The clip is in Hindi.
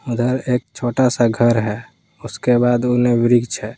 उधर एक छोटा सा घर है उसके बाद उन्हें वृक्ष है।